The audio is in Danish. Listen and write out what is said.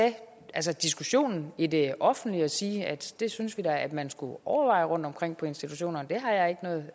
at tage diskussionen i det offentlige og sige at det synes vi da man skulle overveje rundtomkring på institutionerne det har jeg ikke noget